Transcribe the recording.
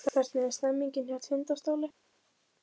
Hvernig er stemningin hjá Tindastóli?